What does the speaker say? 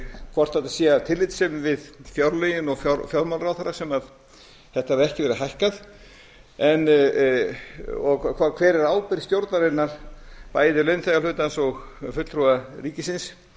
hvort þetta sé af tillitssemi við fjárlögin og fjármálaráðherra sem þetta hafi ekki verið hækkað og hver er ábyrgð stjórnarinnar bæði launþegahlutans og fulltrúa ríkisins